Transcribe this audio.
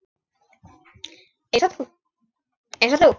Einsog þú.